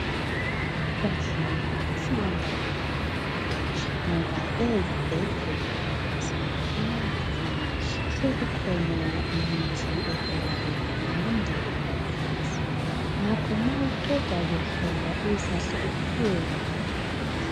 bahlali silendaba ezimnandi ngoba ezibhedlela lasemaphamarcy sekukhona imithi evela ku hulumende lamaphilisi ngakho ma uqeda kuhlolwa uzahle uphiwe la maphilisi